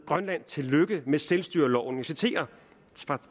grønland tillykke med selvstyreloven jeg citerer